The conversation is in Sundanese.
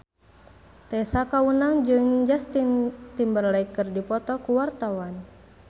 Tessa Kaunang jeung Justin Timberlake keur dipoto ku wartawan